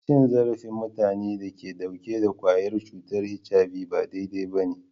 Cin zarafin mutanen da ke dauke da kwayar cutar HIV ba daidai ba ne.